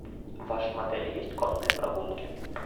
в вашем отеле есть конные прогулки